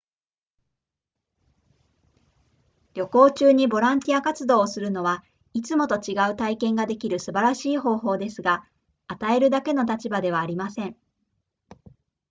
旅行中にボランティア活動をするのはいつもと違う体験ができる素晴らしい方法ですが与えるだけの立場ではありません